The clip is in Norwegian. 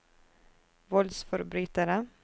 voldsforbrytere